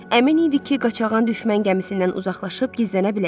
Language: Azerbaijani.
Əmin idi ki, Qaçağan düşmən gəmisindən uzaqlaşıb gizlənə biləcək.